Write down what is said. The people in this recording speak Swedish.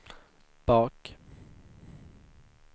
bak